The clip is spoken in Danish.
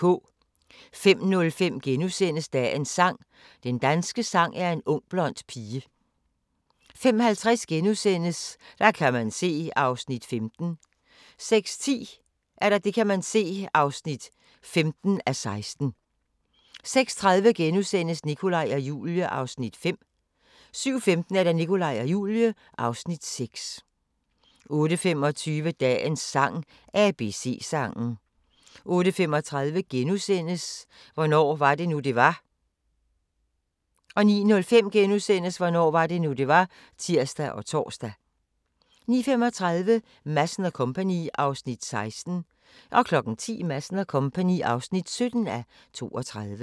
05:05: Dagens sang: Den danske sang er en ung blond pige * 05:50: Der kan man se (14:16)* 06:10: Der kan man se (15:16) 06:30: Nikolaj og Julie (Afs. 5)* 07:15: Nikolaj og Julie (Afs. 6) 08:25: Dagens sang: ABC-sangen 08:35: Hvornår var det nu, det var? * 09:05: Hvornår var det nu, det var? *(tir og tor) 09:35: Madsen & Co. (16:32) 10:00: Madsen & Co. (17:32)